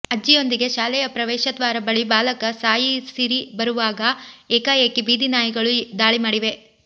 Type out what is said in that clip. ಅಜ್ಜಿಯೊಂದಿಗೆ ಶಾಲೆಯ ಪ್ರವೇಶದ್ವಾರ ಬಳಿ ಬಾಲಕ ಸಾಯಿಸಿರಿ ಬರುವಾಗ ಏಕಾಏಕಿ ಬೀದಿನಾಯಿಗಳು ದಾಳಿ ಮಾಡಿವೆ